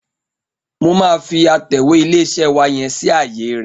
Mo máa fi atẹ̀wé ilé-iṣẹ́ wa yẹn sí ààye rẹ̀.